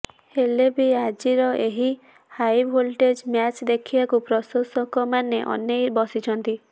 ହେଲେ ବି ଆଜିର ଏହି ହାଇଭୋଲ୍ଟେଜ ମ୍ୟାଚ ଦେଖିବାକୁ ପ୍ରଶଂସକମାନେ ଅନେଇ ବସିଛନ୍ତି